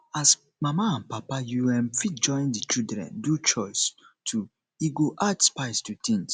as mama and papa you um fit join di children do chores too e go add spice to things